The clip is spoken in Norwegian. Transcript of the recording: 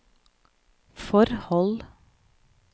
forhold